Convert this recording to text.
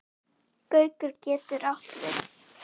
Gaukur getur átt við